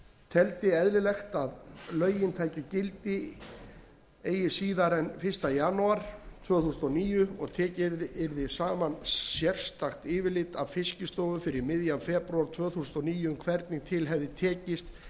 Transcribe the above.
teldi eðlilegt að lögin tækju gildi eigi síðar en fyrsta janúar tvö þúsund og níu og tekið yrði saman sérstakt yfirlit af hálfu fiskistofu fyrir miðjan febrúar tvö þúsund og níu um hvernig til hefði tekist